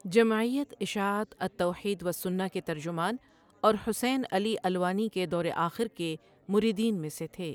جمعیت اشاعت التوحیدوالسنہ کے ترجمان، اورحسین علی الوانی کے دورآخر کے مریدین میں سےتھے۔